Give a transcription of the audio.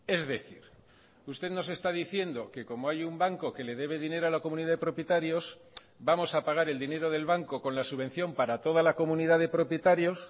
es decir usted nos está diciendo que como hay un banco que le debe dinero a la comunidad de propietarios vamos a pagar el dinero del banco con la subvención para toda la comunidad de propietarios